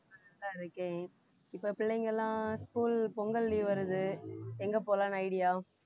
நல்லா இருக்கேன் இப்ப பிள்ளைங்க எல்லாம் school பொங்கல் leave வருது எங்க போலாம்னு idea